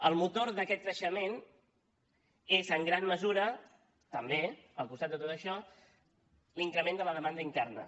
el motor d’aquest creixement és en gran mesura també al costat de tot això l’increment de la demanda interna